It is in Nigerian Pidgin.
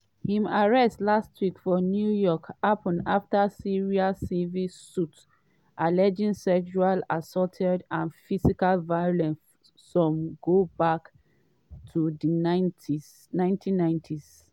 im arrest last week for new york happen afta series of civil suits alleging sexual assault and physical violence some go back to di 1990s.